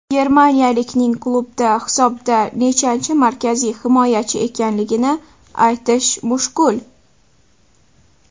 Germaniyalikning klubda hisobda nechanchi markaziy himoyachi ekanligini aytish mushkul.